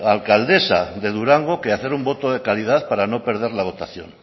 alcaldesa de durango que hacer un voto de calidad para no perder la votación